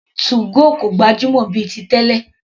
2go kò gbajúmọ̀ mọ́ bíi ti tẹ́lẹ̀.